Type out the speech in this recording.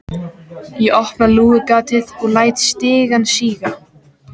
Ég opna lúgugatið og læt stigann síga.